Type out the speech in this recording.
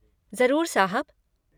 ज़रूर साहब।